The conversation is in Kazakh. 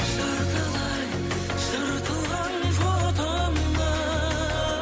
жартылай жыртылған фотоны